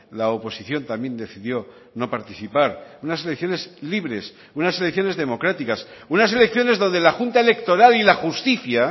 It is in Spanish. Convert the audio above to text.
la oposición también decidió no participar unas elecciones libres unas elecciones democráticas unas elecciones donde la junta electoral y la justicia